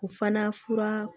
O fana fura